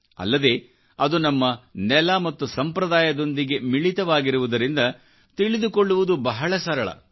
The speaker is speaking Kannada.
ಅಲ್ಲದೆ ಅದು ನಮ್ಮ ನೆಲ ಮತ್ತು ಸಂಪ್ರದಾಯದೊಂದಿಗೆ ಮಿಳಿತವಾಗಿರುವುದರಿಂದ ತಿಳಿದುಕೊಳ್ಳುವುದುಬಹಳ ಸರಳ